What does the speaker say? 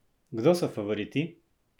Kdo so favoriti?